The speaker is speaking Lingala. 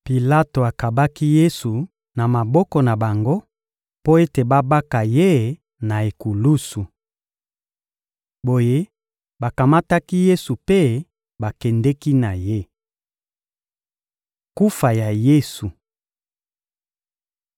Pilato akabaki Yesu na maboko na bango mpo ete babaka Ye na ekulusu. Boye, bakamataki Yesu mpe bakendeki na Ye. Kufa Ya Yesu (Mat 27.32-56; Mlk 15.21-41; Lk 23.26-49)